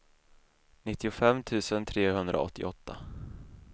nittiofem tusen trehundraåttioåtta